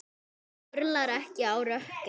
Samt örlar ekki á rökkri.